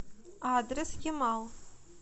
адрес ямал